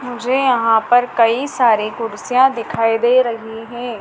मुझे यहां पर कई सारे कुर्सियां दिखाई दे रही है।